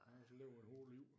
Også levet et hårdt liv